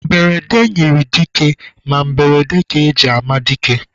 Mberede nyịrị dike ma mberede ka e ji ama dike.